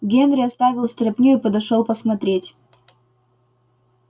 генри оставил стряпню и подошёл посмотреть